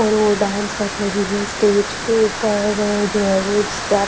और वो डांस कर रही है स्टेज के ऊपर जो है वो स्टेप्स --